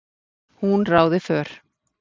Hún ráði för.